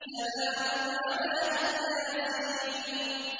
سَلَامٌ عَلَىٰ إِلْ يَاسِينَ